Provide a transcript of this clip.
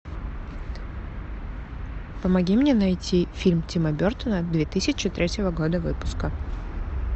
помоги мне найти фильм тима бертона две тысячи третьего года выпуска